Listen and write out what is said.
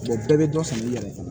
bɛɛ bɛ dɔ san i yɛrɛ ye